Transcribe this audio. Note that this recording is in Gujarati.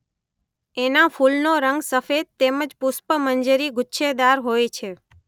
એનાં ફૂલનો રંગ સફેદ તેમજ પુષ્પમંજરી ગુચ્છેદાર હોય છે.